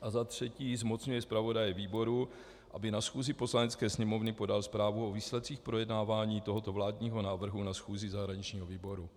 a za třetí zmocňuje zpravodaje výboru, aby na schůzi Poslanecké sněmovny podal zprávu o výsledcích projednávání tohoto vládního návrhu na schůzi zahraničního výboru.